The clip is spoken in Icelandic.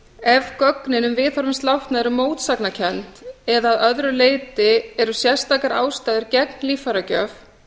ef gögnin um viðhorf hins látna eru mótsagnakennd eða að öðru leyti eru sérstakar ástæður gegn líffæragjöf